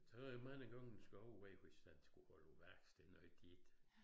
Så det jo mange gange den over hvis den skal holde på værksted noget tit